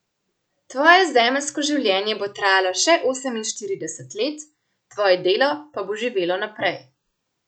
Tvoje zemeljsko življenje bo trajalo še oseminštirideset let, tvoje delo pa bo živelo naprej.